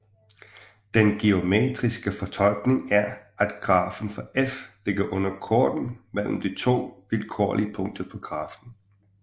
Den geometriske fortolkning er at grafen for f ligger under korden mellem to vilkårlige punkter på grafen